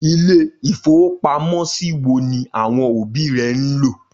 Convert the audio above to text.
Ilé-ìfowópamọ́sí wo ni àwọn òbí rẹ ń lò?